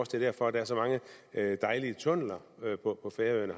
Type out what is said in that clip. derfor at der er så mange dejlige tunneller på færøerne